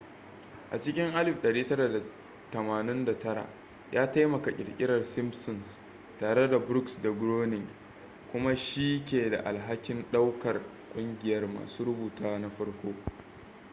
a cikin 1989 ya taimaka ƙirƙirar simpsons tare da brooks da groening kuma shi ke da alhakin ɗaukar ƙungiyar masu rubutu na farko